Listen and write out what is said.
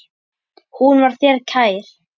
Hún var þér kær.